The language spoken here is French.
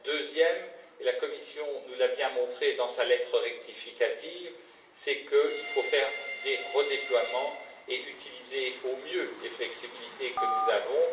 Le deuxième, la Commission nous l'a bien montré dans sa lettre rectificative, c'est qu'il faut faire des redéploiements et utiliser au mieux les flexibilités que nous avons.